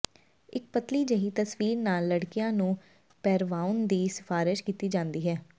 ਇਕ ਪਤਲੀ ਜਿਹੀ ਤਸਵੀਰ ਨਾਲ ਲੜਕੀਆਂ ਨੂੰ ਪਹਿਰਾਵਾਉਣ ਦੀ ਸਿਫਾਰਸ਼ ਕੀਤੀ ਜਾਂਦੀ ਹੈ